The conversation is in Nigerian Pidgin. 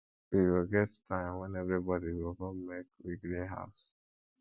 we go get time wen everybodi go come make we clean house